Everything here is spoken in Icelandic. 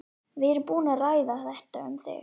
Við erum búin að ræða þetta. um þig.